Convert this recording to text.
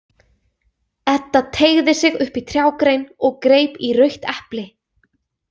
Edda teygði sig upp í trjágrein og greip í rautt epli.